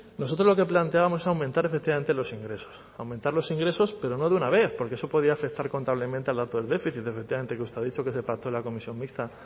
nosotros lo que planteábamos era aumentar efectivamente los ingresos aumentar los ingresos pero no de una vez porque eso podía afectar contablemente al dato del déficit que efectivamente usted ha dicho que se pactó la comisión mixta